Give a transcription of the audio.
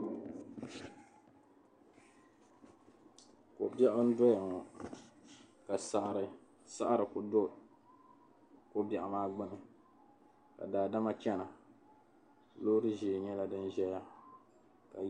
Ko' biɛɣu n-doya ŋɔ ka saɣirisaɣiri kuli do ko' biɛɣu maa gbuni ka daadama chana loori ʒee nyɛla din ʒeya ni.